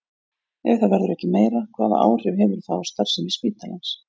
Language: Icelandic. Ef það verður ekki meira, hvaða áhrif hefur það á starfsemi spítalans?